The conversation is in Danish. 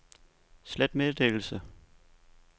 slet meddelelse